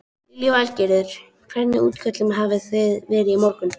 Lillý Valgerður: Hvernig útköllum hafi þið verið í morgun?